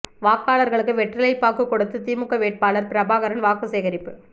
வாக்காளர்களுக்கு வெற்றிலை பாக்கு கொடுத்து திமுக வேட்பாளர் பிரபாகரன் வாக்கு சேகரிப்பு